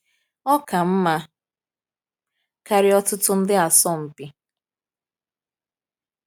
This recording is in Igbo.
Ọ ka mma karịa ọtụtụ ndị asọmpi.